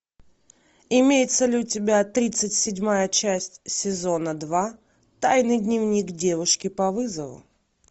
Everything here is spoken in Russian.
имеется ли у тебя тридцать седьмая часть сезона два тайный дневник девушки по вызову